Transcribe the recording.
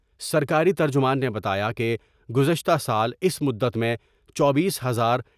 سرکاری ترجمان نے بتایا کہ گزشتہ سال اس مدت میں چوبیس ہزار ۔